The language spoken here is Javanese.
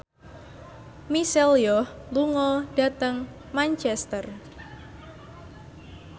Michelle Yeoh lunga dhateng Manchester